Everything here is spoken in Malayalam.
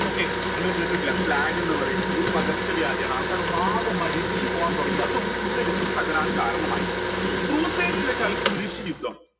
okay നിങ്ങൾ കേട്ടിട്ടില്ല plague എന്ന് പറയുന്നത് ഒരു പകർച്ച വ്യാധിയാണ് ആൾക്കാർ മരിച്ചു പോവാൻ തുടങ്ങി അതും feudalism തകരാൻ കാരണമായി ന്ന് വെച്ചാൽ കുരിശ്